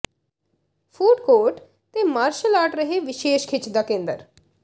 food court ਤੇ martial art ਰਹੇ ਵਿਸ਼ੇਸ਼ ਖਿੱਚ ਦਾ ਕੇਂਦਰ